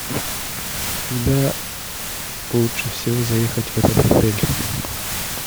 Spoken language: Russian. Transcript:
когда лучше всего заехать в этот отель